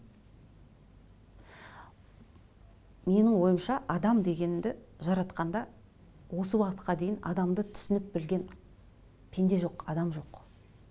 менің ойымша адам дегенді жаратқанда осы уақытқа дейін адамды түсініп білген пенде жоқ адам жоқ